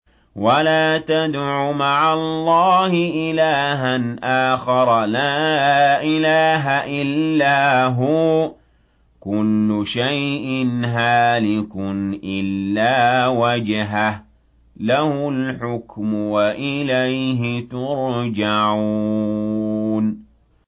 وَلَا تَدْعُ مَعَ اللَّهِ إِلَٰهًا آخَرَ ۘ لَا إِلَٰهَ إِلَّا هُوَ ۚ كُلُّ شَيْءٍ هَالِكٌ إِلَّا وَجْهَهُ ۚ لَهُ الْحُكْمُ وَإِلَيْهِ تُرْجَعُونَ